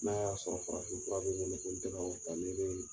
N'a y'a sɔrɔ farafin fura bɛ ye ni ne tun tɛ ko ta ni ye